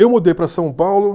Eu mudei para São Paulo